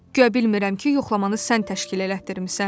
Guya bilmirəm ki, yoxlamanı sən təşkil elətdirmisən?